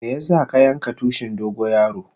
Meya sa ka yanka tushin dogo yaro?